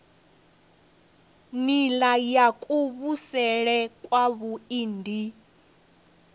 nila ya kuvhusele kwavhui ndi